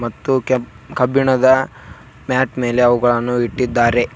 ಮತ್ತು ಕೆಬ್ - ಕಬ್ಬಿಣದ ಮ್ಯಾಟ್ ಮೇಲೆ ಅವುಗಳನ್ನು ಇಟ್ಟಿದ್ದಾರೆ.